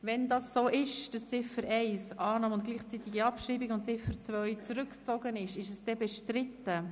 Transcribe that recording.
Wenn dem so ist, ist diese Motion bestritten?